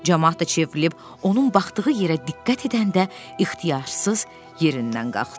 Camaat da çevrilib onun baxdığı yerə diqqət edəndə ixtiyarsız yerindən qalxdı.